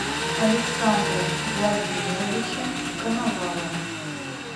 александра владимировича коновалова